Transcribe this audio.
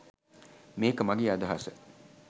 මේක මගේ අදහස